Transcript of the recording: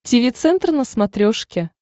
тиви центр на смотрешке